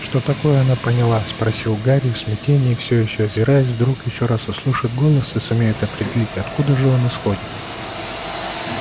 что такое она поняла спросил гарри в смятении все ещё озираясь вдруг ещё раз услышит голос и сумеет определить откуда же он исходит